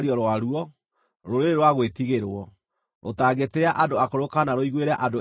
rũrĩrĩ rwa gwĩtigĩrwo, rũtangĩtĩĩa andũ akũrũ kana rũiguĩre andũ ethĩ tha.